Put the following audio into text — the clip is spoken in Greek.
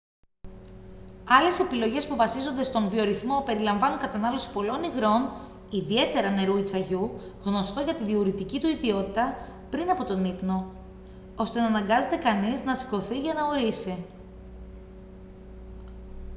άλλες επιλογές που βασίζονται στον βιορυθμό περιλαμβάνουν κατανάλωση πολλών υγρών ιδιαίτερα νερού ή τσαγιού γνωστό για τη διουρητική του ιδιότητα πριν τον ύπνο ώστε να αναγκάζεται κανείας να σηκωθεί για να ουρήσει